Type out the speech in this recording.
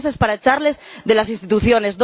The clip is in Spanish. dos meses para echarles de las instituciones